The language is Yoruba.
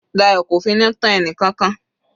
Dayo kò finú tán ẹnìkankan.